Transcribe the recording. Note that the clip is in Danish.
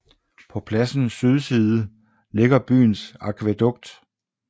På pladsens sydside ligger byens akvædukt